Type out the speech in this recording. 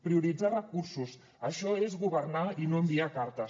prioritzar recursos això és governar i no enviar cartes